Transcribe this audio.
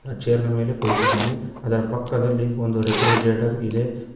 Chair ನ ಮೇಲೆ ಕುಳಿತಿದ್ದಾನೆ ಅದರ ಪಕ್ಕದಲ್ಲಿ ಒಂದು ರೆಫ್ರಿಜರೇಟರ್ ಇದೆ.